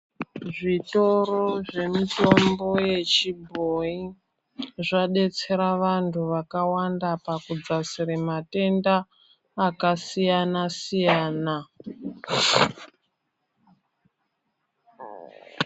Zvitoro zvemutombo yechibhoyi ,zvadetsera vantu vakawanda pakudzasire matenda ,akasiyana-siyana .